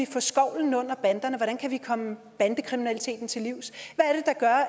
få skovlen under banderne hvordan vi kan komme bandekriminaliteten til livs